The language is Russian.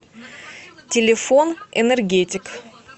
телефон энергетик